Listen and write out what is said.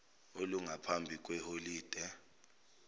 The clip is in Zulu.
olungaphambi kwe holide